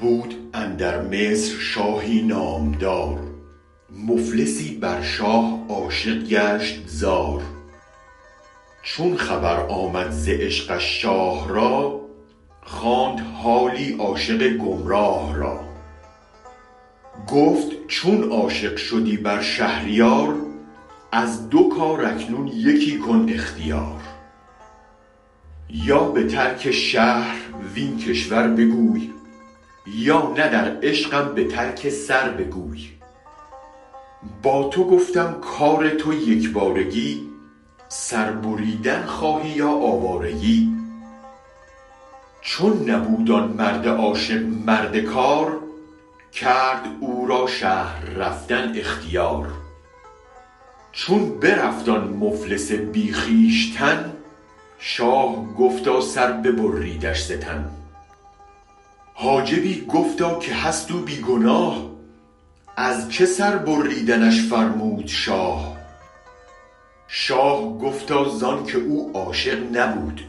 بود اندر مصر شاهی نامدار مفلسی بر شاه عاشق گشت زار چون خبر آمد ز عشقش شاه را خواند حالی عاشق گم راه را گفت چون عاشق شدی بر شهریار از دو کار اکنون یکی کن اختیار یا به ترک شهر وین کشور بگوی یا نه در عشقم به ترک سر بگوی با تو گفتم کار تو یک بارگی سر بریدن خواهی یا آوارگی چون نبود آن مرد عاشق مرد کار کرد او را شهر رفتن اختیار چون برفت آن مفلس بی خویشتن شاه گفتا سر ببریدش ز تن حاجبی گفتا که هست او بی گناه ازچه سربریدنش فرمود شاه شاه گفتا زانک او عاشق نبود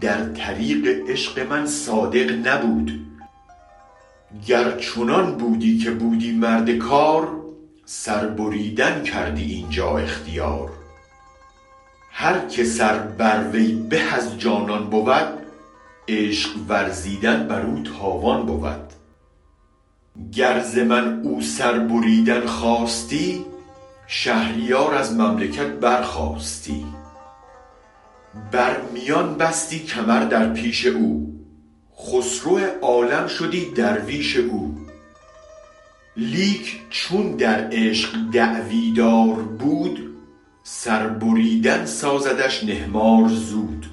در طریق عشق من صادق نبود گر چنان بودی که بودی مرد کار سربریدن کردی اینجا اختیار هرک سر بر وی به از جانان بود عشق ورزیدن برو تاوان بود گر ز من او سربریدن خواستی شهریار از مملکت برخاستی بر میان بستی کمر در پیش او خسرو عالم شدی درویش او لیک چون در عشق دعوی دار بود سربریدن سازدش نهمار زود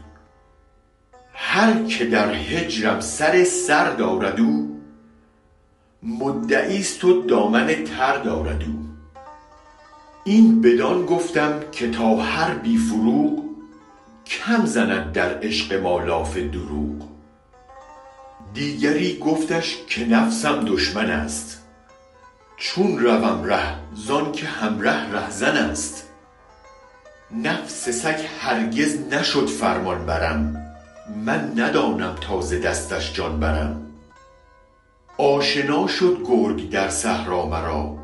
هرکه در هجرم سر سر دارد او مدعیست دامن تر دارد او این بدان گفتم که تا هر بی فروغ کم زند در عشق ما لاف دروغ دیگری گفتش که نفسم دشمن است چون روم ره زانک هم ره رهزنست نفس سگ هرگز نشد فرمان برم من ندانم تا ز دستش جان برم آشنا شد گرگ در صحرا مرا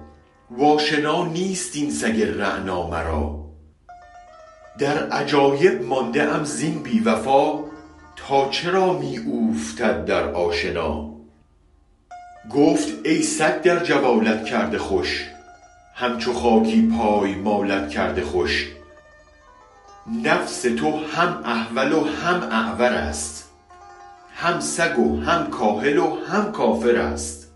و آشنا نیست این سگ رعنا مرا در عجایب مانده ام زین بی وفا تا چرا می اوفتد در آشنا گفت ای سگ در جوالت کرده خوش هم چو خاکی پای مالت کرده خوش نفس تو هم احول و هم اعورست هم سگ و هم کاهل و هم کافرست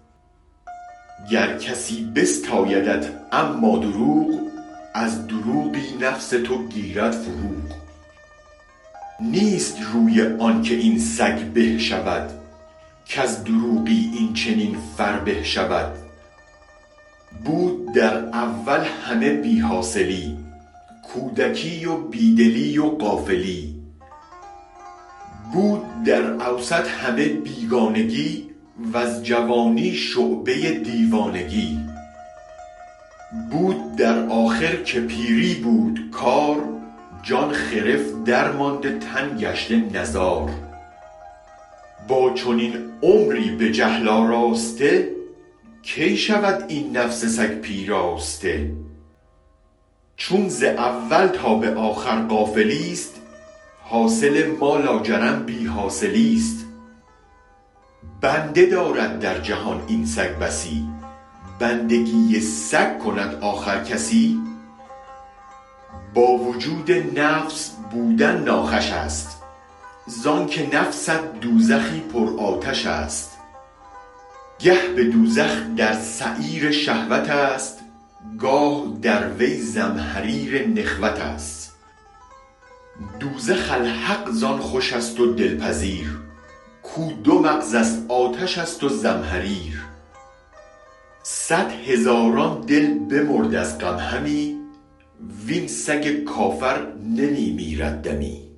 گر کسی بستایدت اما دروغ از دروغی نفس تو گیرد فروغ نیست روی آن که این سگ به شود کز دروغی این چنین فربه شود بود در اول همه بی حاصلی کودکی و بی دلی و غافلی بود در اوسط همه بیگانگی وز جوانی شعبه دیوانگی بود در آخر که پیری بود کار جان خرف درمانده تن گشته نزار با چنین عمری به جهل آراسته کی شود این نفس سگ پیراسته چون ز اول تا به آخر غافلیست حاصل ما لاجرم بی حاصلیست بنده دارد در جهان این سگ بسی بندگی سگ کند آخر کسی با وجود نفس بودن ناخوش است زانک نفست دوزخی پر آتش است گه به دوزخ در سعیر شهوتست گاه در وی زمهریر نخوتست دوزخ الحق زان خوش است و دل پذیر کو دو مغزست آتش است و زمهریر صد هزاران دل بمرد از غم همی وین سگ کافر نمی میرد دمی